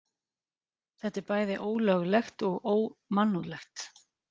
Þetta er bæði ólöglegt og ómannúðlegt